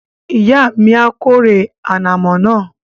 Ìyá mi a kórè ànàmọ́ náà